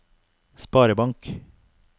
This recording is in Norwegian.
sparebank